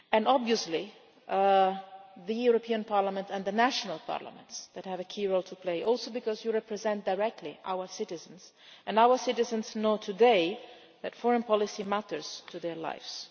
Obviously the European Parliament and the national parliaments have a key role to play, also because you represent directly our citizens, and our citizens know today that foreign policy matters to their lives.